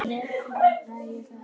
Það eru myndavélar.